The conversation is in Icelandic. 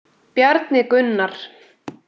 Bjarni Gunnar.